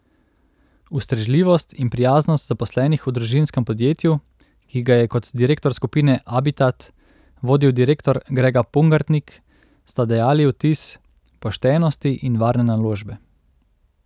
Ustrežljivost in prijaznost zaposlenih v družinskem podjetju, ki ga je kot direktor skupine Abitat vodil direktor Grega Pungartnik, sta dajali vtis poštenosti in varne naložbe.